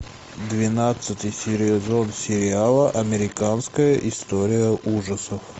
двенадцатый сезон сериала американская история ужасов